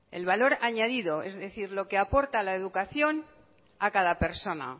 el valor añadido es decir lo que aporta la educación acada persona